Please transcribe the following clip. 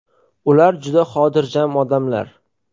Ular juda xotirjam odamlar.